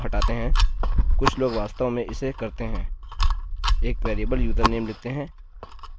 इसका कारण यह है यदि मैं एक यूज़रनेम जमा करता हूँ – इसको हटाते हैं